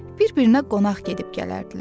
Bir-birinə qonaq gedib gələrdilər.